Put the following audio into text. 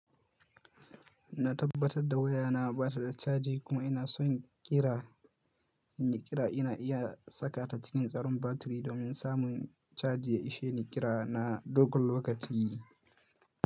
Na tabbatar da waya na bata da caji kuma ina son ƙira, in yi ƙira ina iya saka ta cikin tsaron batiri domin samun cajin ya isheni ƙira na dogon lokaci.